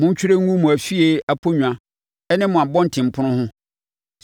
Montwerɛ ngu mo afie aponnwa ne mo abɔntenpono ho,